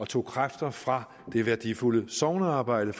tog kræfter fra det værdifulde sognearbejde